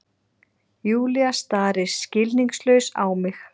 Júlía starir skilningslaus á mig.